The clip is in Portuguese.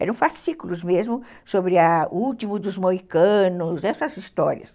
Eram fascículos mesmo sobre a o último dos moicanos, essas histórias.